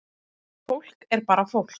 Fólk er bara fólk